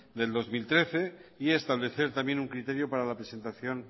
del dos mil trece y establecer también un criterio para la presentación